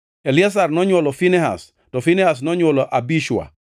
Eliazar nonywolo Finehas, to Finehas nonywolo Abishua,